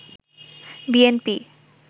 BNP